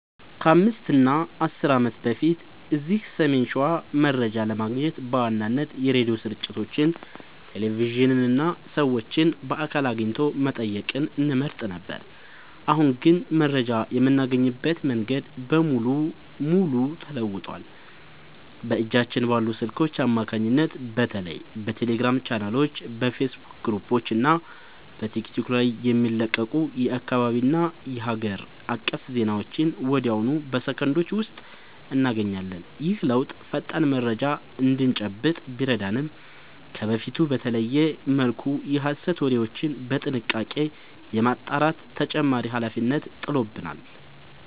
ከ5 እና 10 ዓመት በፊት እዚህ ሰሜን ሸዋ መረጃ ለማግኘት በዋናነት የሬዲዮ ስርጭቶችን፣ ቴሌቪዥንን እና ሰዎችን በአካል አግኝቶ መጠየቅን እንመርጥ ነበር። አሁን ግን መረጃ የምናገኝበት መንገድ ሙሉ በሙሉ ተለውጧል። በእጃችን ባሉ ስልኮች አማካኝነት በተለይ በቴሌግራም ቻናሎች፣ በፌስቡክ ግሩፖች እና በቲክቶክ ላይ የሚለቀቁ የአካባቢና የሀገር አቀፍ ዜናዎችን ወዲያውኑ በሰከንዶች ውስጥ እናገኛለን። ይህ ለውጥ ፈጣን መረጃ እንድንጨብጥ ቢረዳንም፣ ከበፊቱ በተለየ መልኩ የሐሰት ወሬዎችን በጥንቃቄ የማጣራት ተጨማሪ ኃላፊነት ጥሎብናል።